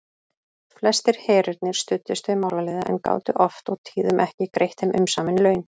Flestir herirnir studdust við málaliða en gátu oft og tíðum ekki greitt þeim umsamin laun.